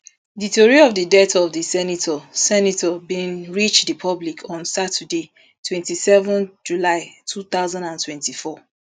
di tori of di death of di senator senator bin reach di public on saturday twenty-seven july two thousand and twenty-four